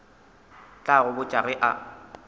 tla go botša ge a